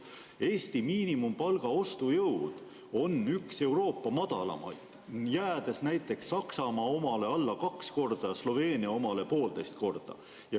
Eesti miinimumpalga ostujõud on üks Euroopa madalamaid, jäädes näiteks Saksamaa omale alla kaks korda ja Sloveenia omale poolteist korda.